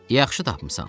Yaxşı tapmısan.